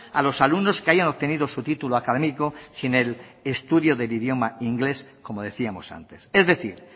a los alumnos que hayan obtenido su título académico sin el estudio del idioma inglés como decíamos antes es decir